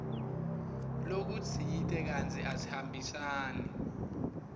lokutsite kantsi asihambisani